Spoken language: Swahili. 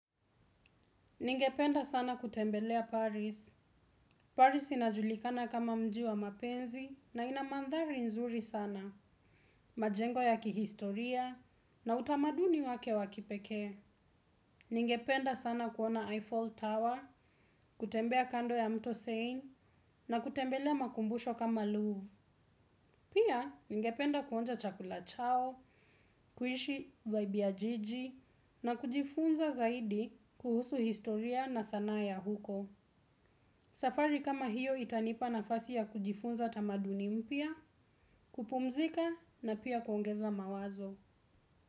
Ningependa sana kutembelea Paris. Paris inajulikana kama mji wa mapenzi na ina mandhari nzuri sana. Majengo ya kihistoria na utamaduni wake wa kipekee. Ningependa sana kuona Eiffel Tower, kutembea kando ya mto Seine na kutembelea makumbusho kama Louvre. Pia, ningependa kuonja chakula chao, kuishi vibe ya jiji na kujifunza zaidi kuhusu historia na sanaa ya huko. Safari kama hiyo itanipa nafasi ya kujifunza tamaduni mpya, kupumzika na pia kuongeza mawazo.